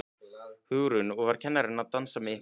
Hugrún: Og var kennarinn að dansa með ykkur?